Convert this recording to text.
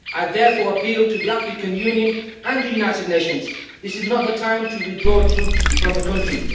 I therefore appeal to the African Union and the United Nations this is not the time to withdraw troops from the country.